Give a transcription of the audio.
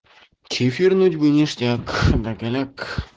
чифирнуть бы ништяк да голяк